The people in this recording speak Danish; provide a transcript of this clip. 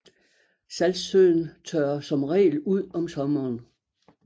Saltsøen tørrer som regel ud om sommeren